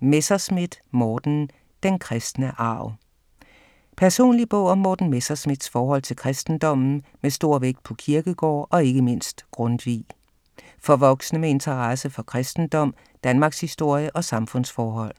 Messerschmidt, Morten: Den kristne arv Personlig bog om Morten Messerschmidts forhold til kristendommen med stor vægt på Kierkegaard og ikke mindst Grundtvig. For voksne med interesse for kristendom, Danmarkshistorie og samfundsforhold.